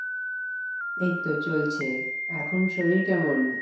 এইতো চলছে এখন শরীর কেমন?